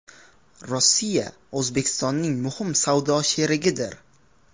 Rossiya O‘zbekistonning muhim savdo sherigidir.